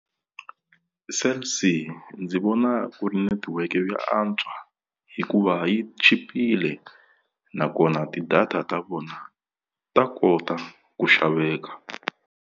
Cell C ndzi vona ku ri netiweke yo antswa hikuva yi chipile nakona ti-data ta vona ta kota ku xaveka.